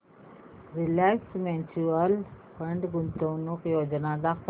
Reliance mutual fund गुंतवणूक योजना दाखव